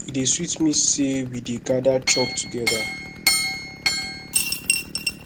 e dey sweet me sey we dey gada chop togeda